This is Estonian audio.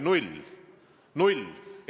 Null!